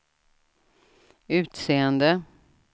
utseende